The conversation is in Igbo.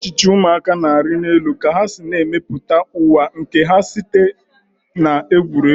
Echiche ụmụaka na-arị elu ka ha na-emepụta ụwa nke ha site na egwuregwu.